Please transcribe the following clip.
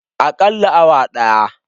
Akalla awa daya.